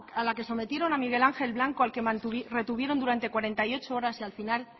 a la que sometieron a miguel ángel blanco al que retuvieron durante cuarenta y ocho horas y al final